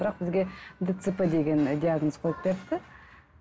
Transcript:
бірақ бізге дцп деген ы диагноз қойып беріпті